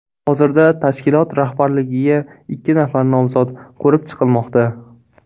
Hozirda tashkilot rahbarligiga ikki nafar nomzod ko‘rib chiqilmoqda.